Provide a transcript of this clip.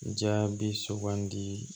Jaabi sugandi